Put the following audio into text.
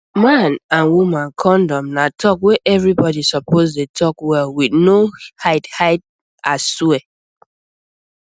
man and woman condom na talk wey everybody suppose dey talk well with no hidehide aswear